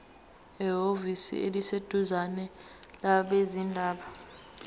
ehhovisi eliseduzane labezindaba